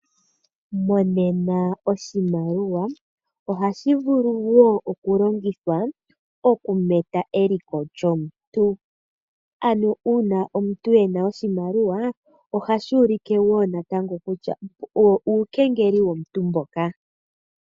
Monena oshimaliwa ohashi vulu wo okulongithwa moku meta eliko lyomuntu. Ano uuna omuntu e na oshimaliwa ohashi ulike wo natango kutya uukengeli womuntu mboka.